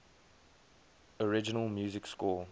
original music score